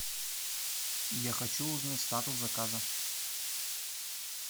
я хочу узнать статус заказа